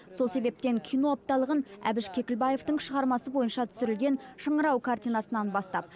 сол себептен кино апталығын әбіш кекілбаевтың шығармасы бойынша түсірілген шыңырау картинасынан бастап